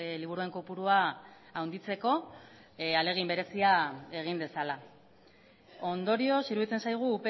liburuen kopurua handitzeko ahalegin berezia egin dezala ondorioz iruditzen zaigu